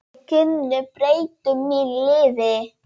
Þau kynni breyttu mínu lífi.